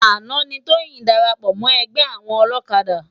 Ánà ni Toyin dàrápò mò ègbè áwòn òlòkádá